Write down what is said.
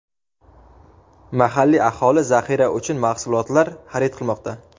Mahalliy aholi zaxira uchun mahsulotlar xarid qilmoqda.